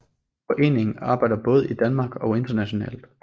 Foreningen arbejder både i Danmark og internationalt